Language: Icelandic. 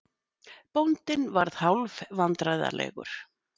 Bóndinn varð hálf vandræðalegur.